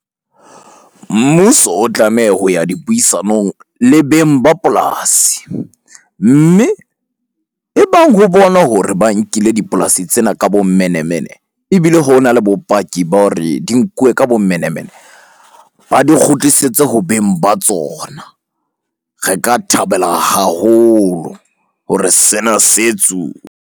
Mmuso o tlameha ho ya dipuisanong le beng ba polasi. Mme e bang ho bonwa hore ba nkile dipolasi tsena ka bomenemene, ebile hona le bopaki ba hore di nkuwe ka bomenemene. Ba di kgutlisetswe ho beng ba tsona. Re ka thabela haholo hore sena se .